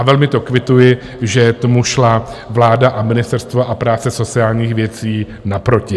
A velmi to kvituji, že tomu šla vláda a Ministerstvo práce a sociálních věcí naproti.